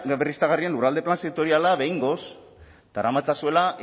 berriztagarrien lurralde plan sektoriala behingoz daramatzazuela